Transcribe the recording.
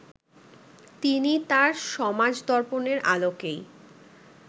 তিনি তাঁর সমাজদর্পণের আলোকেই